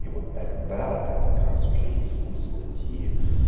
и вот тогда так как раз уже есть смысл идти